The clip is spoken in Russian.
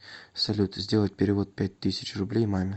салют сделать перевод пять тысяч рублей маме